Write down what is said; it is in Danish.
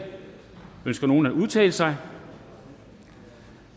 ønsker nogen at udtale sig